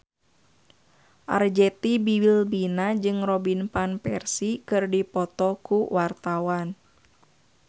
Arzetti Bilbina jeung Robin Van Persie keur dipoto ku wartawan